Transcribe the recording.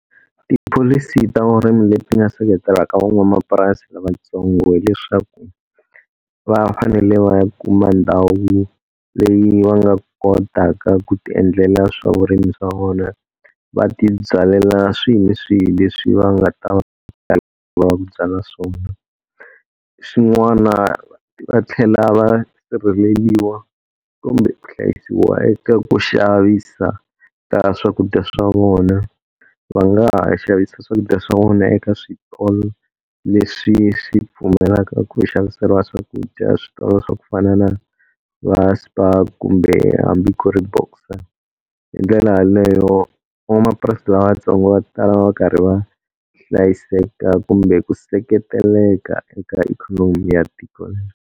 Tipholisi ta vurimi leti nga seketelaka van'wamapurasi lavatsongo, hileswaku va fanele vaya kuma ndhawu leyi va nga kotaka ku tiendlela swa vurimi swa vona. Va tibyalela swihi ni swihi leswi va nga ta va lava ku byala swona. Xin'wana va tlhela va sirheleriwa kumbe ku hlayisiwa eka ku xavisa ka swakudya swa vona. Va nga ha xavisa swakudya swa vona eka switolo leswi swi pfumelaka ku xaviseriwa swakudya, switolo swa ku fana na va Spar hambi ku ri Boxer. Hindlela yaleyo van'wamapurasi lavatsongo va ta va va karhi va hlayiseka kumbe ku seketeleka eka ikhonomi ya tiko rero.